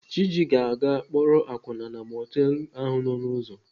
Chiji ga-aga akpọrọ akwụna na mọtelụ ahụ nọ n'ụzọ.